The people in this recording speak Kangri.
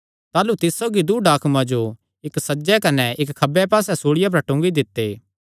ताह़लू तिस सौगी दूँ डाकुआं जो इक्क सज्जे कने इक्क खब्बे पास्से सूल़िया पर टुंगी दित्ते